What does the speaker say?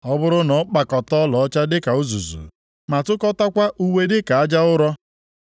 Ọ bụrụ na ọ kpakọta ọlaọcha dịka uzuzu, ma tụkọtakwa uwe dịka aja ụrọ,